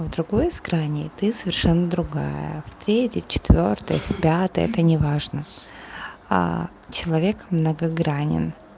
в другой из граней ты совершенно другая в третьей в четвёртой в пятой это неважно человек а многогранен